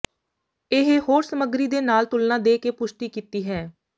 ਇਹ ਹੋਰ ਸਮੱਗਰੀ ਦੇ ਨਾਲ ਤੁਲਨਾ ਦੇ ਕੇ ਪੁਸ਼ਟੀ ਕੀਤੀ ਹੈ